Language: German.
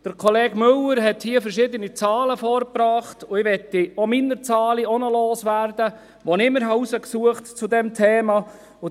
Kollege Müller hat hier verschiedene Zahlen vorgebracht, und auch ich möchte meine Zahlen loswerden, die ich mir zu diesem Thema herausgesucht habe.